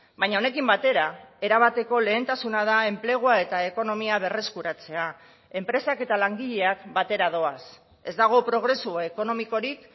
baina honekin batera erabateko lehentasuna da enplegua eta ekonomia berreskuratzea enpresak eta langileak batera doaz ez dago progresu ekonomikorik